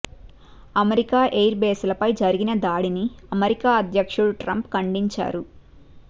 America air base లపై జరిగిన దాడిని అమెరికా అధ్యక్షుడు ట్రంప్ ఖండించారు